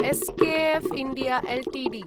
SKF India Ltd